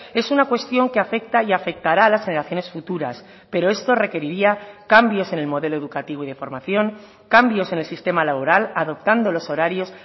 es una cuestión que afecta y afectará a las generaciones futuras pero esto requeriría cambios en el modelo educativo y de formación cambios en el sistema laboral adoptando los horarios